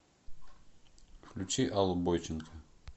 включи аллу бойченко